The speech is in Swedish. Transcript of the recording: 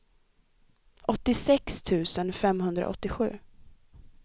åttiosex tusen femhundraåttiosju